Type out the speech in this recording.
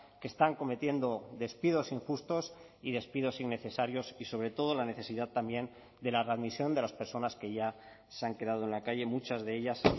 que están cometiendo despidos injustos y despidos innecesarios y sobre todo la necesidad también de la readmisión de las personas que ya se han quedado en la calle muchas de ellas